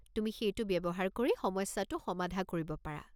তুমি সেইটো ব্যৱহাৰ কৰি সমস্যাটো সমাধা কৰিব পাৰা।